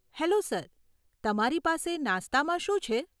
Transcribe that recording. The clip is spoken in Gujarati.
હેલો સર, તમારી પાસે નાસ્તામાં શું છે?